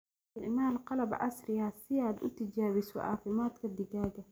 Isticmaal qalab casri ah si aad u tijaabiso caafimaadka digaagga.